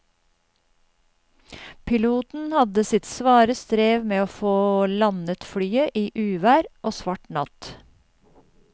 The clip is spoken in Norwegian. Piloten hadde sitt svare strev med å få landet flyet i uvær og svart natt.